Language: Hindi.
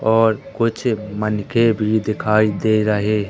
और कुछ मनके भी दिखाई दे रहे--